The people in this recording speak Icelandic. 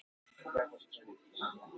Langstærst þeirra er Búrfellshraun.